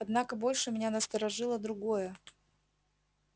однако больше меня насторожило другое